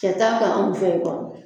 Cɛ t'a ta anw fɛ yen kɔni